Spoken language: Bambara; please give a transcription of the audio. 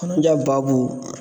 Kɔnɔja baabu